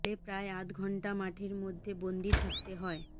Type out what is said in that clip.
ফলে প্রায় আধ ঘন্টা মাঠের মধ্যে বন্দি থাকতে হয়